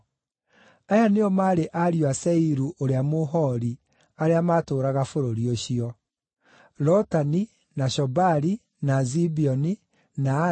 Aya nĩo maarĩ ariũ a Seiru ũrĩa Mũhori arĩa maatũũraga bũrũri ũcio: Lotani, na Shobali, na Zibeoni, na Ana,